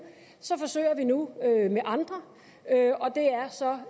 så forsøger vi nu med andre og det er så